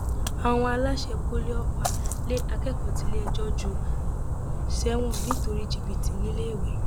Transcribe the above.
àwọn aláṣẹ poli ọfà lé akẹkọọ tiléẹjọ jù sẹwọn nítorí jìbìtì níléèwé